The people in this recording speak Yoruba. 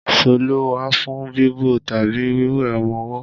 Ṣọ́lù wà fún bíbo tàbí wíwé ọmọwọ́.